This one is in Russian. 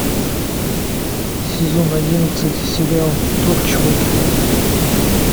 сезон одиннадцать сериал торчвуд